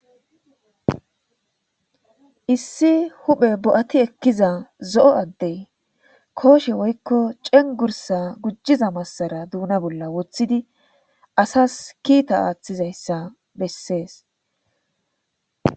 Issi huphe bo7ati ekkiza zo7o addey kooshe woykko cengursa gujjiza massara duuna bolla woththidi asas kiita aaththizayssa bessees.